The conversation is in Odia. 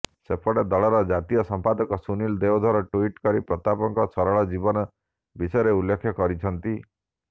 ସେପଟେ ଦଳର ଜାତୀୟ ସମ୍ପାଦକ ସୁନିଲ ଦେଓଧର ଟ୍ବିଟ୍ କରି ପ୍ରତାପଙ୍କ ସରଳ ଜୀବନ ବିଷୟରେ ଉଲ୍ଲେଖ କରିଛନ୍ତି